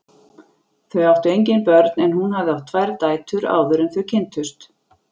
Þau áttu engin börn en hún hafði átt tvær dætur áður en þau kynntust.